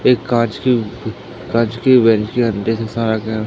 एक कांच की कांच की